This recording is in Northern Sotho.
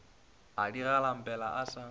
a di galampele a sa